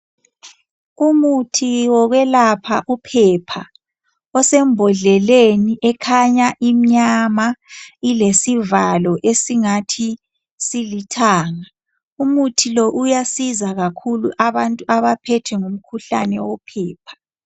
Umuthi wokwelapha uphepha osembodleleni ekhanya imnyama ilesivalo esingathi silithanga umuthi lo uyasiza kakhulu abantu abaphethwe ngumkhuhlane wophepha